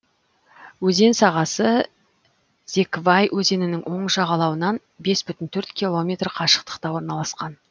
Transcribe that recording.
өзен сағасы зеквай өзенінің оң жағалауынан бес бүтін төрт километр қашықтықта орналасқан